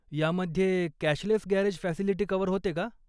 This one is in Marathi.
यामध्ये कॅशलेस गॅरेज फॅसिलिटी कव्हर होते का?